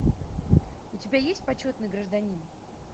у тебя есть почетный гражданин